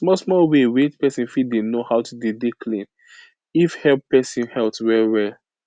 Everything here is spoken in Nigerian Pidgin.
small small way wey pesin fit dey know how to dey dey clean if help pesin health well well